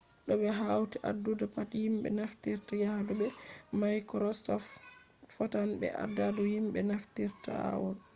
to ɓe hauti adadu pat himɓe naftirta yahu be maikrosoft fotan be adadu himɓe naftirta aol